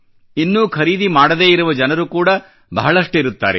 ಇನ್ನೂ ಖರೀದಿ ಮಾಡದೇ ಇರುವ ಜನರು ಕೂಡಾ ಬಹಳಷ್ಟಿರುತ್ತಾರೆ